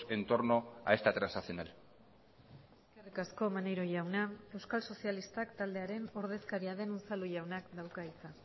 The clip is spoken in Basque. en torno a esta transaccional eskerrik asko maneiro jauna euskal sozialistak taldearen ordezkaria den unzalu jaunak dauka hitza